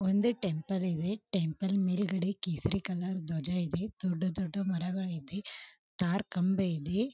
ಒಂದು ಟೆಂಪಲ್ ಇದೆ ಟೆಂಪಲ್ ಮೇಲ್ಗಡೆ ಕೇಸರಿ ಕಲರ್ ಧ್ವಜ ಇದೆ ದೊಡ್ಡ ದೊಡ್ಡ ಮರಗಳು ಇದೆ ಟಾರ್ ಕಂಬ ಇದೆ.